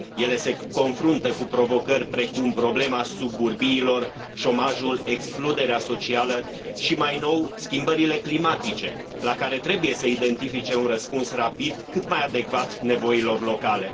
Ele se confruntă cu provocări precum problema suburbiilor, șomajul, excluderea socială și, mai nou, schimbările climatice, la care trebuie să identifice un răspuns rapid, cât mai adecvat nevoilor locale.